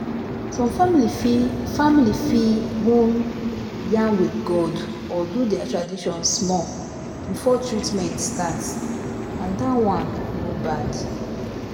some family fit family fit wan yarn with god or do their tradition small before treatment start — and that one no bad."